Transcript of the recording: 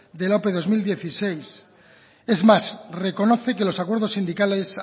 de la ope bi mila hamasei es más reconoce que los acuerdos sindicales